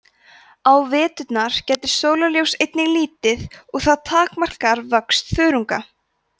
á veturna gætir sólarljóss einnig lítið og það takmarkar vöxt þörunga